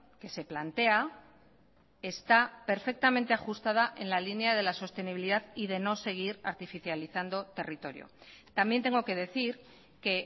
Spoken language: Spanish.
que se plantea está perfectamente ajustada en la línea de la sostenibilidad y de no seguir artificializando territorio también tengo que decir que